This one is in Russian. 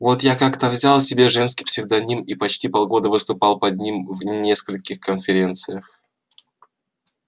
вот я как-то взял себе женский псевдоним и почти полгода выступал под ним в нескольких конференциях